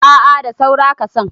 a a da saura kasan